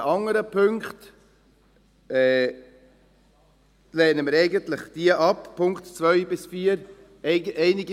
Die anderen Punkte, die Punkte 2 bis 4, lehnen wir eigentlich ab.